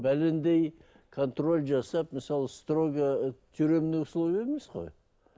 бәлендей контроль жасап мысалы сторого ы тюремный условие емес қой